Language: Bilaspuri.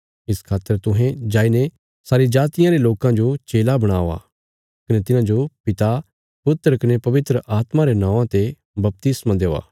इस खातर तुहें जाईने सारी जातियां रे लोकां जो चेला बणावा कने तिन्हांजो पिता पुत्र कने पवित्र आत्मा रे नौआं ते बपतिस्मा देआ